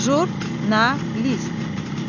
Jurnalist.